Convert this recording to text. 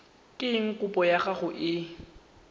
eng kopo ya gago e